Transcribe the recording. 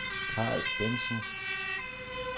Karl Bentzen